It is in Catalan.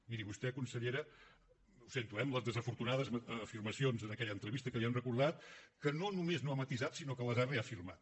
miri vostè consellera ho sento eh amb les desafortunades afirmacions en aquella entrevista que li han recordat que no només no ha matisat sinó que les ha reafirmat